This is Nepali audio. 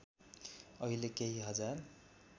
अहिले केही हजार